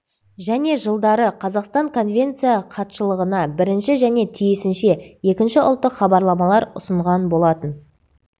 және жылдары қазақстан конвенция хатшылығына бірінші және тиісінше екінші ұлттық хабарламалар ұсынған болатын